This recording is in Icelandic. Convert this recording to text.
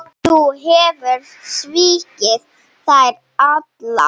Þú hefur svikið þær allar.